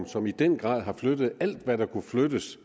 som i den grad har flyttet alt hvad der kunne flyttes